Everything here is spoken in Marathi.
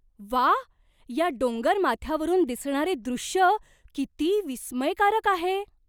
व्वा! या डोंगर माथ्यावरून दिसणारे दृश्य किती विस्मयकारक आहे!